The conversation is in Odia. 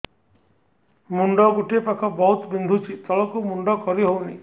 ମୁଣ୍ଡ ଗୋଟିଏ ପାଖ ବହୁତୁ ବିନ୍ଧୁଛି ତଳକୁ ମୁଣ୍ଡ କରି ହଉନି